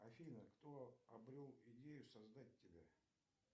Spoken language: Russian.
афина кто обрел идею создать тебя